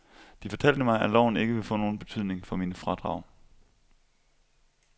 De fortalte mig, at loven ikke ville få nogen betydning for mine fradrag.